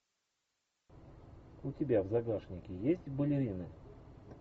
у тебя в загашнике есть балерины